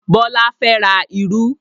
Bọlá fẹ́ ra irú